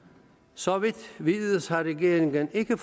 så vidt vides har regeringen ikke